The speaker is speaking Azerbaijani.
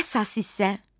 Əsas hissə.